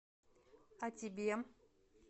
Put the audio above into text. а тебе